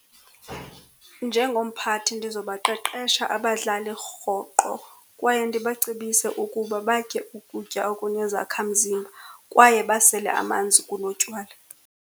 Njengomphathi ndizobaqeqesha abadlali rhoqo. Kwaye ndibacebise ukuba batye ukutya okunezakhamzimba, kwaye basele amanzi kunotywala.